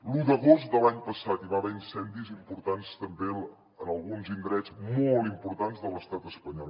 l’un d’agost de l’any passat hi va haver incendis importants també en alguns indrets molt importants de l’estat espanyol